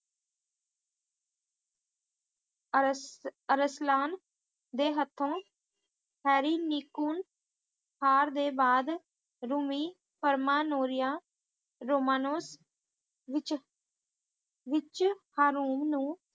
ਅਰੁਸਲਾਂ ਦੇ ਹੱਥੋਂ ਹਰਿਨਿਕੂਲ ਹਾਰ ਦੇ ਬਾਅਦ ਰੂਮੀ ਹ੍ਰਮਨੂਰੀਆ ਰੁਮਾਨੁਜ ਵਿੱਚ ਵਿੱਚ ਹਾਰੂਮ ਨੂੰ